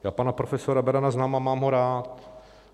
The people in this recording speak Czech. Já pana profesora Berana znám a mám ho rád.